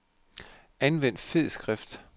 Anvend fed skrift.